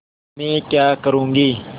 मैं क्या करूँगी